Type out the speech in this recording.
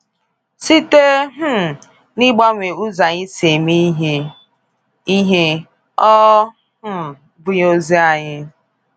Site um n’ịgbanwe ụzọ anyị si eme ihe, ihe, ọ um bụghị ozi anyị.